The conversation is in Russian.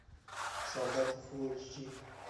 солдаты фул эйч ди